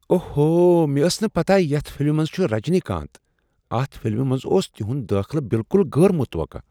اوہو! مےٚ ٲس نہٕ پتاہ یتھ فِلمہِ منز چھٗ رجنی کانت ۔ اتھ فلمہ منٛز اوس تِہٗند دٲخلہٕ بِلكٗل غٲر متوقع۔